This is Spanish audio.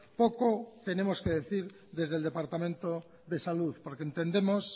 poco tenemos que decir desde el departamento de salud porque entendemos